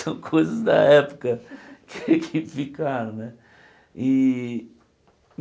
São coisas da época que ficaram né. E e